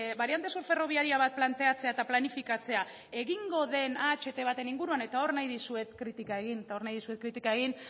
bariante subferrobiaria bat planteatzea eta planifikatzea egingo den aht baten inguruan eta hor nahi dizuet kritika egin eta hor nahi dizuet kritika egin